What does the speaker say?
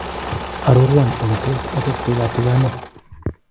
Arorwan ole tos achapte katiganet